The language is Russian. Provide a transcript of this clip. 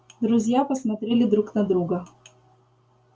друзья посмотрели друт на друга